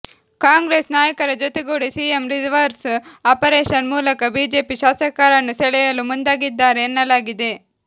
ಕಾಂಗ್ರೆಸ್ ನಾಯಕರ ಜೊತೆಗೂಡಿ CM reverse operation ಮೂಲಕ ಬಿಜೆಪಿ ಶಾಸಕರನ್ನು ಸೆಳೆಯಲು ಮುಂದಾಗಿದ್ದಾರೆ ಎನ್ನಲಾಗಿದೆ